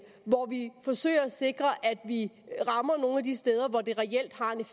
hvor vi forsøger at sikre at vi rammer nogle af de steder hvor det reelt har en